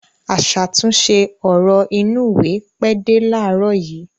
Aṣàtúnṣe ọ̀rọ̀ inúùwé pẹ́ dé láàárọ̀ yìí.